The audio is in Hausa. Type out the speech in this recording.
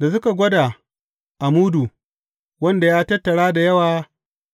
Da suka gwada a mudu, wanda ya tattara da yawa